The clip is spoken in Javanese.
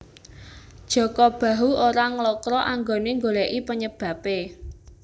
Jaka Bahu ora nglokro anggone nggoleki penyebabe